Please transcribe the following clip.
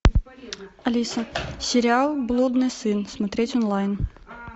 алиса сериал блудный сын смотреть онлайн